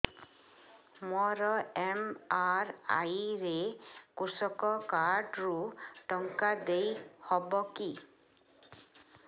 ମୋର ଏମ.ଆର.ଆଇ ରେ କୃଷକ କାର୍ଡ ରୁ ଟଙ୍କା ଦେଇ ହବ କି